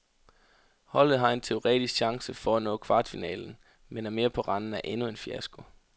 Holdet har en teoretisk chance for at nå kvartfinalen men er mere på randen af endnu en fiasko.